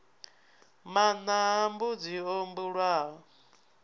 maṋa a mbudzi o bulwaho